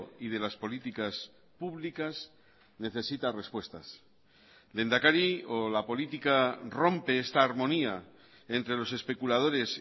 y de las políticas públicas necesita respuestas lehendakari o la política rompe esta armonía entre los especuladores